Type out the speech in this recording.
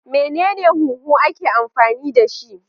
Menene huhu ake amfani dashi?